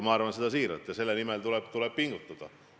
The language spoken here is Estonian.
Ma arvan seda siiralt ja selle muutmiseks tuleb pingutada.